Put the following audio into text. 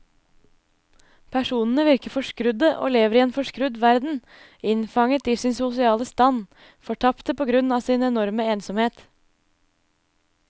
Personene virker forskrudde og lever i en forskrudd verden, innfanget i sin sosiale stand, fortapte på grunn av sin enorme ensomhet.